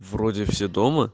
вроде все дома